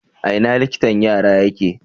A ina liktan yara yake?